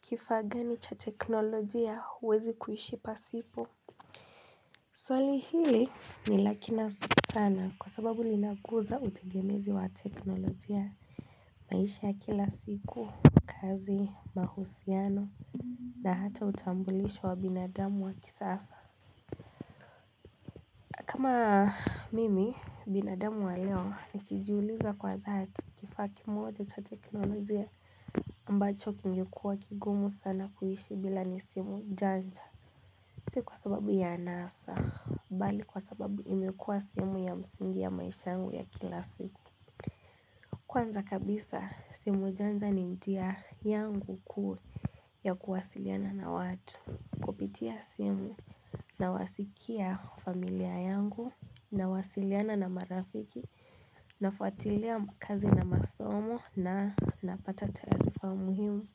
Kifaa gani cha teknolojia huwezi kuhishi pasipo Swali hili ni lakina sana kwa sababu linakuza utegemezi wa teknolojia maisha ya kila siku, kazi, mahusiano na hata utambulisho wa binadamu wa kisasa kama mimi binadamu wa leo nikijiuliza kwa dhati kifaa kimoja cha teknolojia ambacho kingekuwa kigumu sana kuishi bila nisimu janja si kwa sababu ya anasa, bali kwa sababu imekuwa sehemu ya msingi ya maisha yangu ya kila siku Kwanza kabisa, simu janja ni njia yangu kuu ya kuwasiliana na watu Kupitia simu na wasikia familia yangu na wasiliana na marafiki na fatuatilia kazi na masomo na napata taarifa muhimu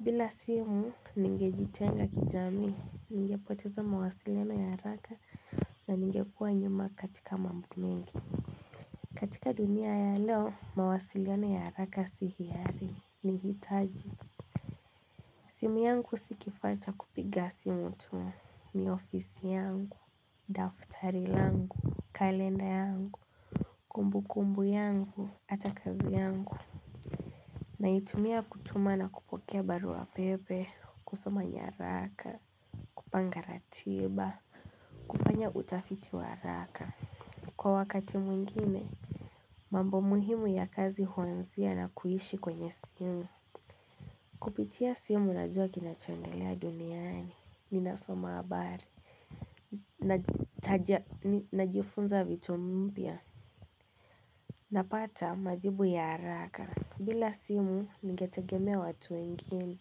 bila simu, ningejitenga kijamii, ningepoteza mawasiliona ya haraka na ningekuwa nyuma katika mambo mengi. Katika dunia ya leo, mawasiliona ya haraka si hiari, ni hitaji. Simu yangu si kifaa cha kupiga simutu. Ni ofisi yangu, daftari langu, kalenda yangu, kumbu kumbu yangu, ata kazi yangu. Naitumia kutuma na kupokea baru wa pepe, kusoma nyaraka, kupanga ratiba, kufanya utafiti wa haraka. Kwa wakati mwingine, mambo muhimu ya kazi huanzia na kuishi kwenye simu. Kupitia simu najua kinachoendelea duniani, ninasoma habari. Najifunza vitu mpya. Napata majibu ya haraka. Bila simu, ninge tegemea watu wengine.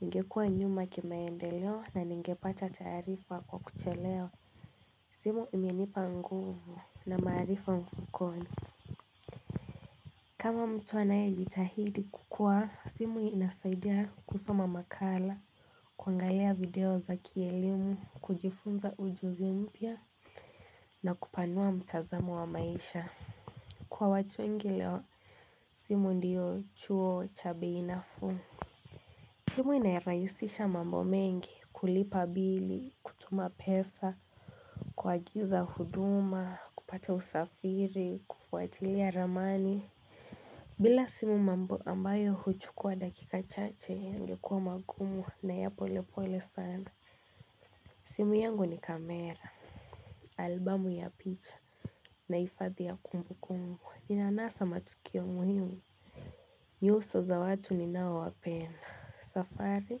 Ningekuwa nyuma kimaendeleo na ningepata taarifa kwa kuchelewa. Simu imenipa nguvu na maarifa mfukoni. Kama mtu anaye jitahidi kukua, simu inasaidia kusoma makala, kuangalia video za kielimu, kujifunza ujuzi mpya na kupanua mtazamo wa maisha. Kwa watu wengi leo, simu ndiyo chuo cha bei nafuu. Simu inarahisisha mambo mengi, kulipa bili, kutuma pesa, kuagiza huduma, kupata usafiri, kufuatilia ramani. Bila simu mambayo ambayo huchukua dakika chache ingekuwa magumu na ya pole pole sana. Simu yangu ni kamera, albamu ya picha, na hifadhi ya kumbu kumbu. Ninanasa matukio muhimu nyuso za watu ninao wapenda safari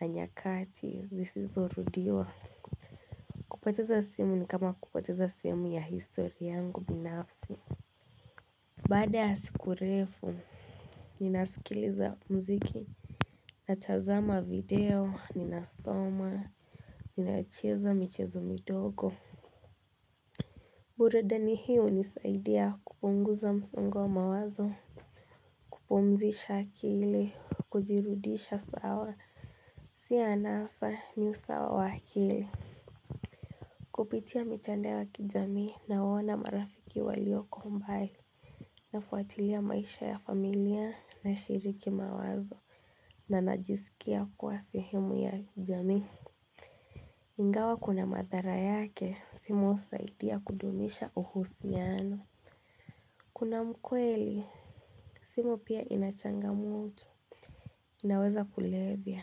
na nyakati zisizo rudiwa kupoteza simu ni kama kupoteza sehemu ya histori yangu binafsi Baada ya siku refu Ninasikiliza mziki Natazama video, ninasoma, ninacheza michezo midogo bure deni hiyo ilisaidia kupunguza msongo wa mawazo kupumzisha akili, kujirudisha sawa, si anasa ni usawa wa akili Kupitia mitandao ya kijamii, nawaona marafiki walioko mbali Nafuatilia maisha ya familia na shiriki mawazo na najisikia kuwa sehemu ya jamii Ingawa kuna madhara yake, simu husaidia kudumisha uhusiano Kuna mkweli, simu pia inachangamoto inaweza kulevya,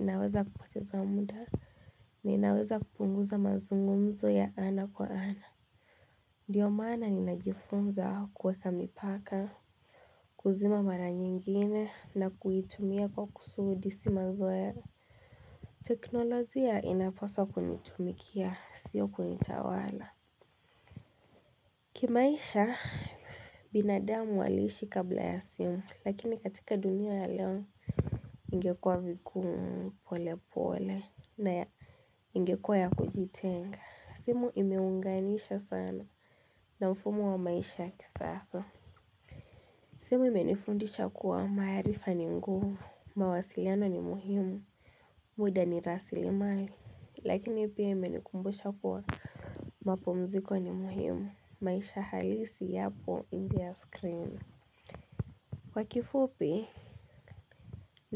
inaweza kupoteza muda, na inaweza kupunguza mazungumzo ya ana kwa ana. Ndio maana ninajifunza kuweka mipaka, kuzima mara nyingine na kuitumia kwa kusudi simazoe. Teknolojia inapaswa kunitumikia, sio kunitawala. Kimaisha, binadamu waliishi kabla ya simu, lakini katika dunia ya leo ingekuwa vigumu pole pole na ya ingekuwa ya kujitenga simu imeunganisha sana na mfumo wa maisha ya kisasa simu ime nifundisha kuwa maarifa ni nguvu mawasiliano ni muhimu muda ni rasili mali lakini pia ime nikumbusha kuwa mapumziko ni muhimu maisha halisi yapo inje ya screen Kwa kifupi na.